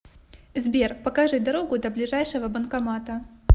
сбер покажи дорогу до ближайшего банкомата